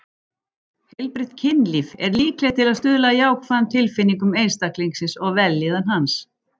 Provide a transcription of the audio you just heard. Heilbrigt kynlíf er líklegt til að stuðla að jákvæðum tilfinningum einstaklingsins og vellíðan hans.